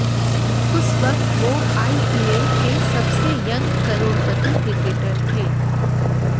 उस वक्त वो आईपीएल के सबसे यंग करोड़पति क्रिकेटर थे